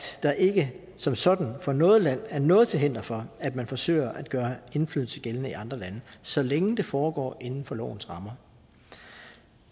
der ikke som sådan for noget land er noget til hinder for at man forsøger at gøre indflydelse gældende i andre lande så længe det foregår inden for lovens rammer